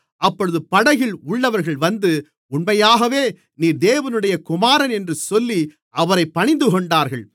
அப்பொழுது படகில் உள்ளவர்கள் வந்து உண்மையாகவே நீர் தேவனுடைய குமாரன் என்று சொல்லி அவரைப் பணிந்துகொண்டார்கள்